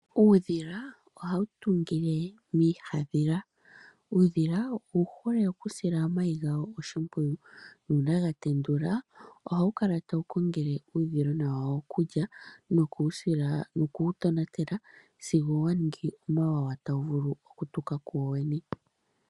Uudhila ohawu tungu iihandhila. Uudhila owu hole okusila omayi gawo oshimpwiyu nuuna ga tenduka ohawu kala tawu kongele uudhilona wawo okulya nokuwu tonatela sigo wa ningi omawawa tawu vulu okutuka kuwowene.